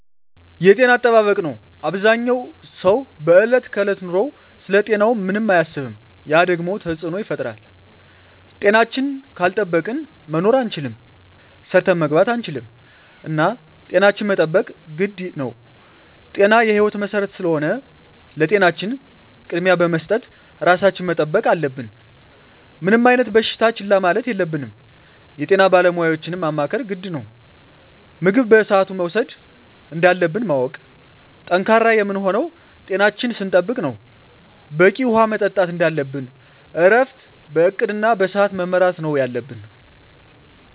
የጤና አጠባበቅ ነው አበዛኛው ሰው በዕለት ከዕለት ኑሮው ስለ ጤናው ምንም አያስብም ያ ደግሞ ተፅዕኖ ይፈጥራል። ጤናችን ካልጠበቅን መኖር አንችልም ሰርተን መግባት አንችልም እና ጤናችን መጠበቅ ግድ ነው ጤና የህይወት መሰረት ስለሆነ ለጤናችን ቅድሚያ በመስጠት ራሳችን መጠበቅ አለብን። ምንም አይነት በሽታ ችላ ማለት የለብንም የጤና ባለሙያዎችን ማማከር ግድ ነው። ምግብ በስአቱ መውሰድ እንዳለብን ማወቅ። ጠንካራ የምንሆነው ጤናችን ስንጠብቅ ነው በቂ ውሀ መጠጣት እንደለብን እረፍት በእቅድ እና በስዐት መመራት ነው የለብን